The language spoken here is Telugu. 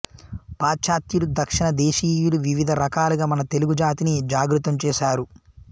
పాశ్చాత్యులు దక్షిణ దేశీయులు వివిధ రకాలుగా మన తెలుగు జాతిని జాగృతం చేశారు